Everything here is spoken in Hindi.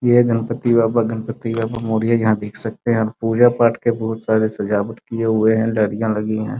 ये गणपति बप्पा गणपति बप्पा मौर्य यहाँ देख सकते है पूजा पाठ के बहुत सारे सजावट किये हुए है लड़िया लगी है।